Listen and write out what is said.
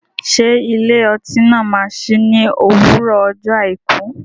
Ṣé ilé ọtí náà máa sí ní òwúrọ̀ ọjọ́ àìkú?